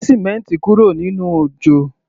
Gbé símẹ́ǹti kúrò nínú òjò!